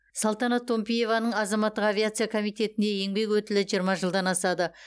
салтанат томпиеваның азаматтық авиация комитетінде еңбек өтілі жиырма жылдан асады